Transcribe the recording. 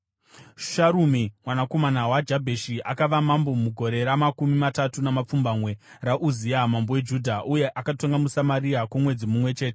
Sharumi mwanakomana waJabheshi akava mambo mugore ramakumi matatu namapfumbamwe raUzia mambo weJudha, uye akatonga muSamaria kwomwedzi mumwe chete.